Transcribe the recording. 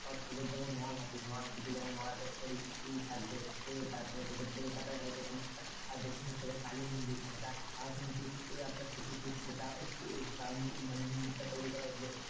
তোদের যেমন নলহাটি নলাটেশ্বরী ই থাকবে তারপরে তোদের কোলকাতায় হয়তো কোনো একটা দক্ষিণেশ্বরের কালী মন্দির সেটা আরো কিন্তু সতীপীঠ সেটা তার মন্দিরটা মানে তৈরী করা হয়েছিল,